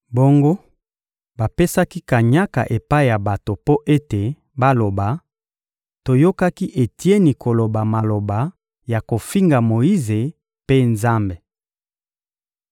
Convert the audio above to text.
Bongo, bapesaki kanyaka epai ya bato mpo ete baloba: «Toyokaki Etieni koloba maloba ya kofinga Moyize mpe Nzambe.»